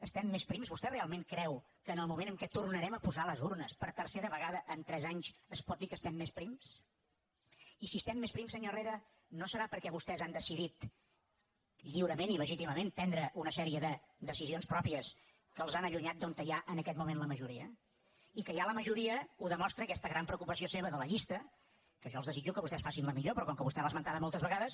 estem més prims vostè realment creu que en el moment en què tor narem a posar les urnes per tercera vegada en tres anys es pot dir que estem més prims i si estem més prims senyor herrera no deu ser perquè vostès han decidit lliurement i legítimament prendre una sèrie de decisions pròpies que els han allunyat d’on hi ha en aquest moment la majoria i que hi ha la majoria ho demostra aquesta gran preocupació seva de la llista que jo els desitjo que vostès facin la millor però com que vostè l’ha esmentada moltes vegades